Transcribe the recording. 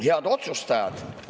Head otsustajad!